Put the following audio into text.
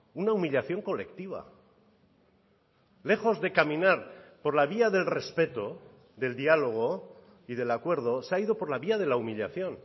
una humillación colectiva lejos de caminar por la vía del respeto del diálogo y del acuerdo se ha ido por la vía de la humillación